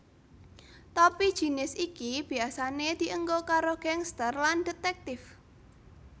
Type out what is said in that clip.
Topi jinis iki biasane dienggo karo gangsters lan detèktif